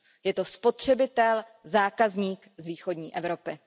Je to spotřebitel, zákazník z východní Evropy.